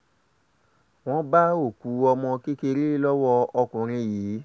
wọ́n bá òkú ọmọ kékeré lọ́wọ́ ọkùnrin yìí